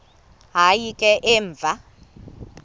hayi ke emva